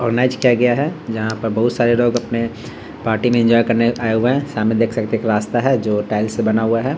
Organise किया गया है जहां पे बहुत सारे लोग अपने पार्टी में एन्जॉय करने आए हुए है सामने देख सकते है एक रास्ता है जो टाइल्स से बना हुआ है।